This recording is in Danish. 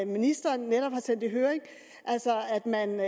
ministeren netop har sendt i høring altså at man vil